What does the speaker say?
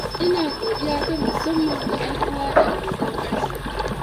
ina godiya ta musamman ga 'yan uwa da abokan arziki.